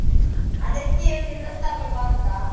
ಅದಕ್ಕೆ ಒಂದ್ dress ತಗೊಳ್ಳುವ ಅಂತ.